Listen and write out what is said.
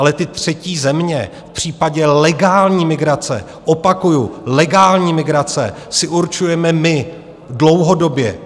Ale ty třetí země v případě legální migrace, opakuju, legální migrace, si určujeme my - dlouhodobě.